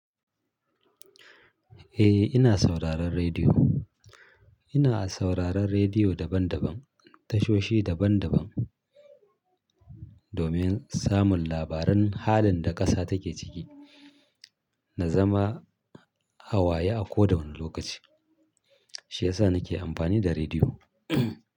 Eh, ina sauraron rediyo. Ina sauraron rediyo daban daban, tashoshi daban daban domin samun labaran halin da ƙasa take ciki na zama hawaye a koda wani lokaci. Shi yasa nake amfani da rediyo.